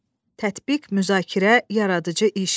Tətbiq, müzakirə, yaradıcı iş.